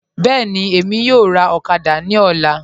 Bẹẹni, Emi yọ̀ọ̀ rà okada ni ọ̀là